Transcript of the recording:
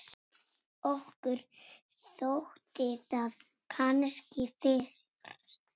Okkur þótti það kannski fyrst.